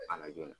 A la joona